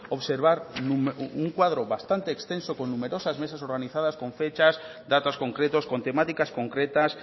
observar un cuadro bastante exento con numerosas mesas organizadas con fechas datos concretos con temáticas concretas